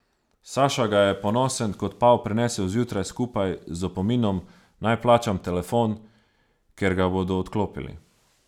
Saša ga je ponosen kot pav prinesel zjutraj skupaj z opominom, naj plačam telefon, ker ga bodo odklopili.